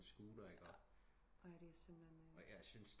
På scooter ikke jeg syntes